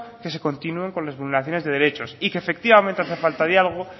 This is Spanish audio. que se continúen con las vulneraciones de derechos y que efectivamente hace falta diálogo